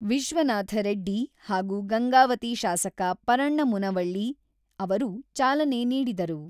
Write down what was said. ವಿಶ್ವನಾಥ ರೆಡ್ಡಿ ಹಾಗೂ ಗಂಗಾವತಿ ಶಾಸಕ ಪರಣ್ಣ ಮುನವಳ್ಳಿ ಅವರು ಚಾಲನೆ ನೀಡಿದರು.